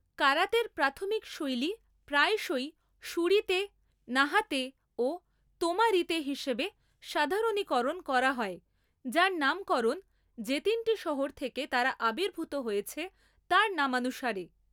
কারাতের প্রাথমিক শৈলী প্রায়শই শুরিতে, নাহাতে ও তোমারিতে হিসেবে সাধারণীকরণ করা হয়, যার নামকরণ যে তিনটি শহর থেকে তারা আবির্ভূত হয়েছে তার নামানুসারে।